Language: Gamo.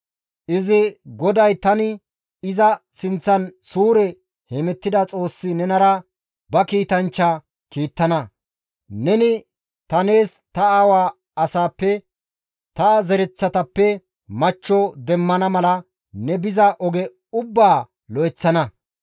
Izi, ‹GODAY tani iza sinththan suure hemettida Xoossi nenara ba kiitanchcha kiittana; neni ta nees ta aawa asaappe, ta zaretappe machcho demmana mala, ne biza oge ubbaa lo7eththana.